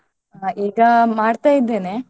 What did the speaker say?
ಹಾ ಈಗ ಮಾಡ್ತ ಇದ್ದೇನೆ.